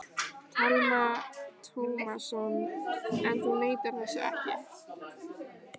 Telma Tómasson: En þú neitar þessu ekki?